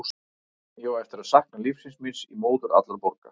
Ég á eftir að sakna lífsins míns í móður allra borga.